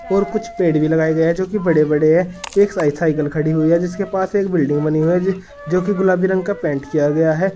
और कुछ पेड़ भी लगाए गए हैं जो कि बड़े बड़े हैं एक साइड साइकिल खड़ी हुई है जिसके पास एक बिल्डिंग बनी हुई है जो कि गुलाबी रंग का पेंट किया गया है।